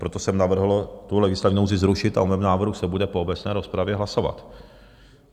Proto jsem navrhl tu legislativní nouzi zrušit a o mém návrhu se bude po obecné rozpravě hlasovat.